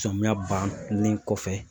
Samiya bannen kɔfɛ